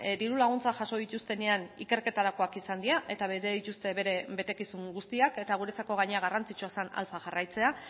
diru laguntzak jaso dituztenean ikerketarakoak izan dira eta bete dituzte bere betekizun guztiak eta guretzako gainera garrantzitsua zen alfa jarraitzea